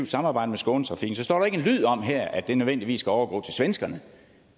samarbejde med skånetrafiken ikke står en lyd om at det nødvendigvis skal overgå til svenskerne